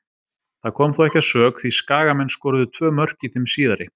Það kom þó ekki að sök því Skagamenn skoruðu tvö mörk í þeim síðari.